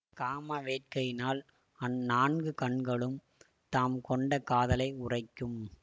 காம வேட்கையினால் அந்நான்கு கண்களும் தாம் கொண்ட காதலை உரைக்கும்